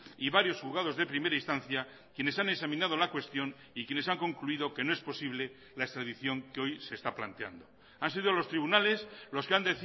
y varios juzgados de primera instancia quienes han examinado la cuestión y quienes han concluido que no es posible la extradición que hoy se está planteando han sido los tribunales los que han